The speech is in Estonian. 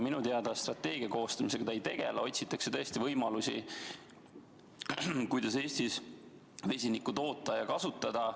Minu teada strateegia koostamisega ta ei tegele, kuid otsitakse tõesti võimalusi, kuidas Eestis vesinikku toota ja kasutada.